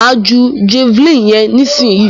Máa ju javeline yẹn nísìyí.